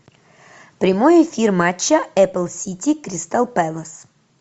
прямой эфир матча апл сити кристал пэлас